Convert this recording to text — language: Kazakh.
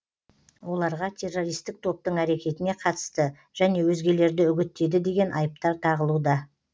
оларға террористік топтың әрекетіне қатысты және өзгелерді үгіттеді деген айыптар тағылуда